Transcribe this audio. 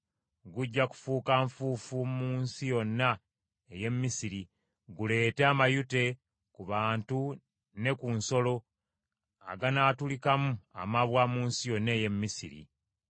Gujja kufuuka nfuufu mu nsi yonna ey’e Misiri, guleete amayute ku bantu ne ku nsolo aganaatulikamu amabwa mu nsi yonna ey’e Misiri.”